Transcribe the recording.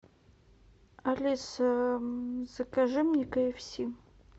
алиса закажи мне кэ эф си